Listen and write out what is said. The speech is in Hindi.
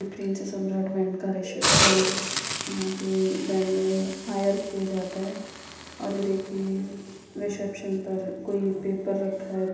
प्रिंस सम्राट बैंड का रिसेप्शन है यहाँ पर बैंड हायर किया जाता है और यह देखिए रिसेप्शन पर कोई एक पेपर रखा है।